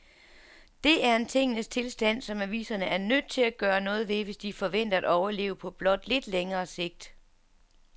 Det er en tingenes tilstand, som aviserne er nødt til at gøre noget ved, hvis de forventer at overleve på blot lidt længere sigt.